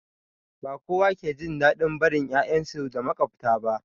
Ba kowa ke jin daɗin barin 'ya'yansu da maƙwabta ba